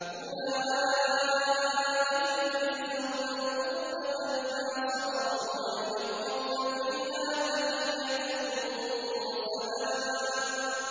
أُولَٰئِكَ يُجْزَوْنَ الْغُرْفَةَ بِمَا صَبَرُوا وَيُلَقَّوْنَ فِيهَا تَحِيَّةً وَسَلَامًا